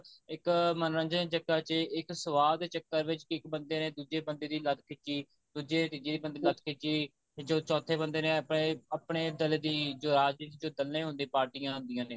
ਇੱਕ ਮਨੋਰੰਜਨ ਦੇ ਚੱਕਰ ਚ ਇੱਕ ਸਵਾਦ ਦੇ ਚੱਕਰ ਵਿੱਚ ਇੱਕ ਬੰਦੇ ਨੇ ਦੁੱਜੇ ਬੰਦੇ ਦੀ ਲੱਤ ਖਿੱਚੀ ਦੁੱਜੇ ਨੇ ਤੀਜੇ ਦੀ ਲੱਤ ਖਿੱਚੀ ਤੇ ਚੋਥੇ ਬੰਦੇ ਨੇ ਆਪਣੇ ਦੱਲ ਦੀ ਜੋ ਰਾਜਨੀਤੀ ਵਿੱਚ ਦਲੇ ਹੋਣ ਦੀਆਂ ਪਾਰਟੀਆਂ ਆਂਦੀਆਂ ਨੇ